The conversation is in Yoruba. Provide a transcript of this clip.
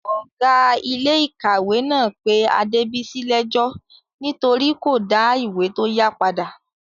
Ọ̀gá iléèkàwé náà pé Adébìyí lẹ́ẹ́jọ́ nítorí kò dá ìwé tó yá padà